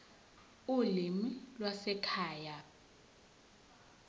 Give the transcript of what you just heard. ulimi lwasekhaya p